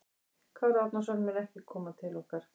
Kári Árnason mun ekki koma til okkar.